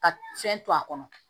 Ka fɛn to a kɔnɔ